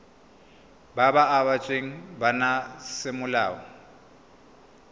ba ba abetsweng bana semolao